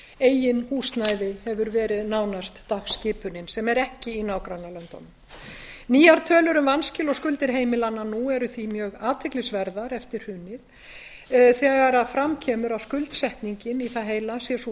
eigið húsnæði hefur verið nánast dagskipunin sem er ekki í nágrannalöndunum nýjar tölur um vanskil og skuldir heimilanna nú eru því mjög athyglisverðar eftir hrunið þegar fram kemur að skuldsetningin í það heila sé sú